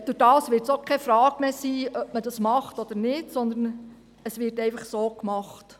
Dadurch wird sich die Frage auch nicht mehr stellen, ob man es so mache oder nicht, sondern es wird dann einfach so gemacht.